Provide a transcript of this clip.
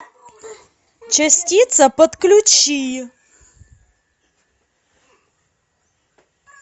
частица подключи